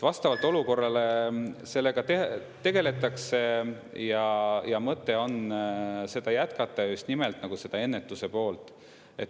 Vastavalt olukorrale sellega tegeletakse ja mõte on seda jätkata ja just nimelt seda ennetuse poolt.